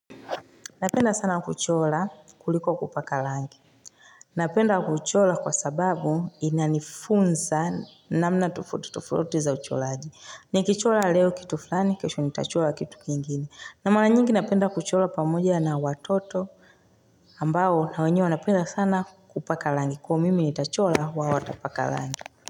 Napenda sana kuchora kuliko kupaka rangi Napenda kuchora kwa sababu ina nifunza namna tofauti tofauti za uchoraji Nikichora leo kitu fulani kesho nitachora kitu kingine na mara nyingi napenda kuchora pamoja na watoto ambao na wenye wanapenda sana kupaka rangi Kwa mimi nitachora wao watapaka rangi.